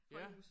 Højhuse